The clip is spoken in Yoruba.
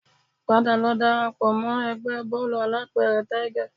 Padà lọ dara pọ̀ mọ́ ẹgbẹ́ bóòlù alápẹ̀rẹ̀ Tiger